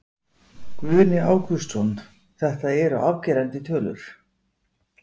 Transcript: Guðni Ágústsson, þetta eru afgerandi tölur?